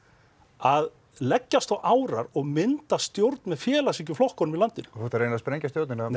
að leggjast á árar og mynda stjórn með félagshyggjuflokkunum í landinu ertu að reyna að sprengja stjórnina með